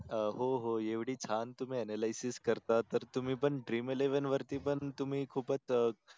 हो हो एवढी छान तुम्ही ANALYSIS करता तर तुम्ही पण DREAMELEVEN वरती पन तुम्ही खूपच अं